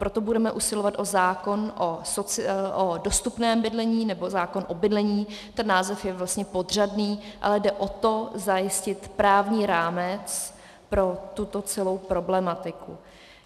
Proto budeme usilovat o zákon o dostupném bydlení, nebo zákon o bydlení - ten název je vlastně podřadný, ale jde o to zajistit právní rámec pro tuto celou problematiku.